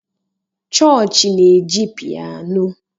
chọọchị na-eji piano